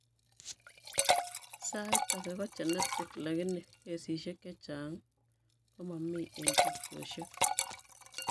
Saait ake kogenetic lakini kesisiek chechang' komamii eng' tubchosiek